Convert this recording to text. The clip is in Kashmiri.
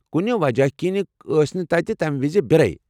کُنہِ وجہ كِنہِ ٲس نہٕ تمہ دۄہ مندرس منٛز بِیرٕ۔